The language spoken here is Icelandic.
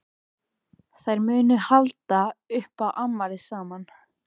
Þær munu halda upp á afmælið saman.